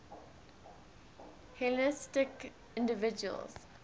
hellenistic individuals